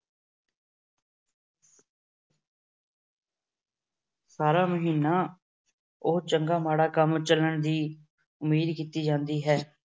ਸਾਰਾ ਮਹੀਨਾ ਉਹ ਚੰਗਾ ਮਾੜਾ ਕੰਮ ਚੱਲਣ ਦੀ ਉਮੀਦ ਕੀਤੀ ਜਾਂਦੀ ਹੈ।